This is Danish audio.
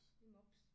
En mops